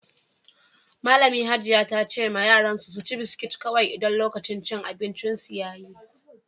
Malami Hajiya ta ce yaran su ci biskit kowai idan ya kai lokaci da za su ci abin ciye-ciye.